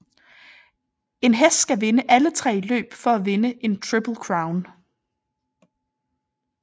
En hest skal vinde alle tre løb for at vinde Triple Crown